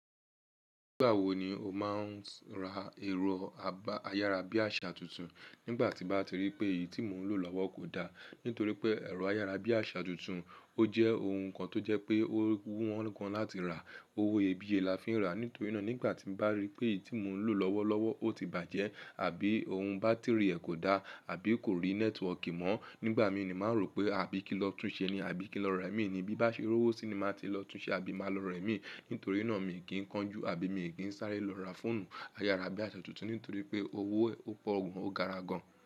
Nígbà wo ni o máa ń ra ẹ̀rọ ayárabíàṣá tuntun? Nígbà tí n bá ti rí pé èyí tí mò ń lò lọ́wọ́ kò da. Nítorí pé ẹ̀rọ ayárabíàṣá tuntun ó jẹ́ ohun kan tó jẹ́ pé ó wọn gan láti rà. Owó iyebíye la fi ń rà. Nítorí náà nígbà tí n bá rí pé èyí tí mò ń lò lọ́wọ́lọ́wọ́ ó ti bàjẹ́ àbí ohun bátìrì rẹ kò da àbí kò rí nẹ́tíwọkì mọ́, nígbà mi ni màá rò pé àbí kí n lọ tún ṣe ni àbí kí lọ ra imí ni bí bá ṣe rówó sí i ni màá ti lọ tún ṣe àbí màá lọ ra imí. Nítorí náà mi kì í kánjú àbí mi kì í sáré lọ ra fóònù ayárabíàṣá tuntun. Nítorí pé owó ẹ pọ̀ gan, ó gara gan.